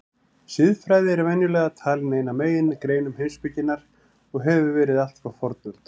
Siðfræði er venjulega talin ein af megingreinum heimspekinnar og hefur verið allt frá fornöld.